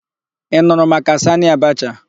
Ị nụrụ maka Sanị Abacha?